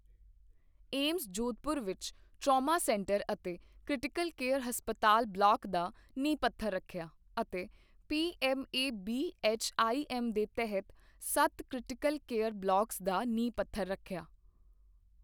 AIIMS, Jodhpur ਵਿੱਚ trauma centre ਅਤੇ critical care ਹਸਪਤਾਲ ਬਲਾਕ ਦਾ ਨੀਂਹ ਪੱਥਰ ਰੱਖਿਆ ਅਤੇ ਪੀਐੱਮ ਏਬੀਐੱਚਆਈਐੱਮ ਦੇ ਤਹਿਤ ਸੱਤ ਕ੍ਰਿਟੀਕਲ ਕੇਅਰ ਬਲਾਕਸ ਦਾ ਨੀਂਹ ਪੱਥਰ ਰੱਖਿਆ